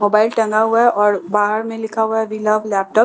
mobile टंगा हुआ है और बाहर में लिखा हुआ है वी लव लैपटॉप्स उस लैपटॉप --